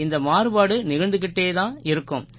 இந்த மாறுபாடு நிகழ்ந்துக்கிட்டே தான் இருக்கும்